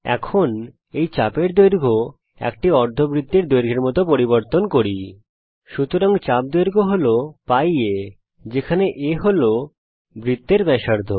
এখন চলুন এই চাপের দৈর্ঘ্য একটি অর্ধবৃত্তের দৈর্ঘ্যের মত পরিবর্তন করি সুতরাং চাপ দৈর্ঘ্য হল π a যেখানে a হল বৃত্তের ব্যাসার্ধ